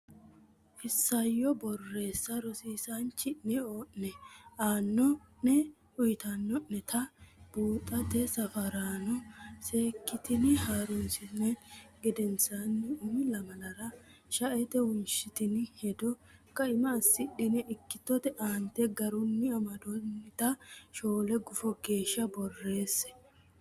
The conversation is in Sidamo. Isayyo Borreessa Rosiisaanchi o ne aanno ne uytanno neta buuxote safaraano seekkitine ha runsitini gedensaanni umi lamalara shaete wonshitini hedo kaima assidhine ikkitote aante garunni amaddinota shoole gufo geeshsha borreesse.